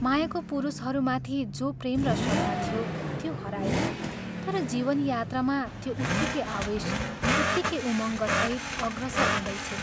मायाको पुरुषहरूमाथि जो प्रेम र श्रद्धा थियो, त्यो हरायो तर जीवन यात्रामा त्यो उत्तिकै आवेश, उत्तिकै उमंगसहित अग्रसर हुँदैछे।